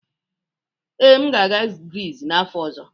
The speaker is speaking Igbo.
Ee, m ga-aga Grizz n'afọ ọzọ.